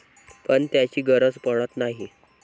पण त्याची गरज पडत नाही.